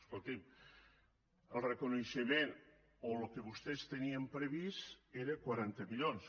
escolti’m el reconeixement o el que vostès tenien previst eren quaranta milions